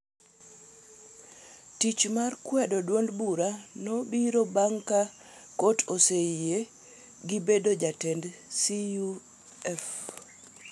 Tich mar kwedoa duond bura nobiro bang’ ka Kot oseyie gi bedo jatend CUF